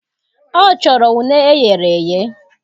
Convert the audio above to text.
Ọ chọrọ une eghereghe